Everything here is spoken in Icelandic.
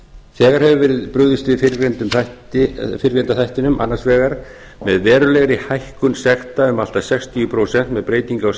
þegar hefur verið brugðist við fyrrgreinda þættinum annars vegar með verulegri hækkun sekta um allt að sextíu prósent með breytingu